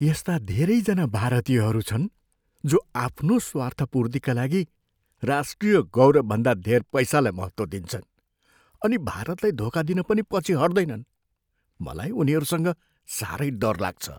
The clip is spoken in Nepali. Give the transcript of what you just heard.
यस्ता धेरैजना भारतीयहरू छन् जो आफ्नो स्वार्थपूर्तिका लागि राष्ट्रिय गौरवभन्दा धेर पैसालाई महत्त्व दिन्छन् अनि भारतलाई धोका दिन पनि पछि हट्दैनन्। मलाई उनीहरूसँग साह्रै डर लाग्छ।